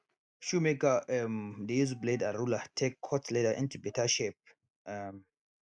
shoemaker um dey use blade and ruler take cut leather into beta shape um